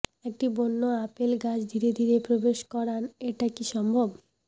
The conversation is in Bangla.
একটি বন্য আপেল গাছ ধীরে ধীরে প্রবেশ করান এটা কি সম্ভব